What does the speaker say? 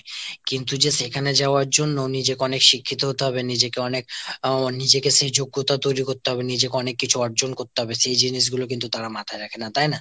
কিন্তু যে সেখানে যাওয়ার জন্য নিজেকে অনেক শিক্ষিত হতে হবে, নিজেকে অনেক আহ নিজেকে সেই যোগ্যতা তৈরী করতে হবে, নিজেকে অনেক কিছু অর্জন হতে হবে সেই জিনিসগুলো কিন্তু তারা মাথায় রাখে না, তাই না ?